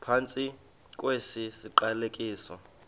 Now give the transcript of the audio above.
phantsi kwesi siqalekiso